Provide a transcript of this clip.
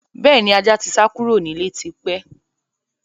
Bẹ́ẹ̀ni, ajá tí sá kúrò nílé tí pẹ́.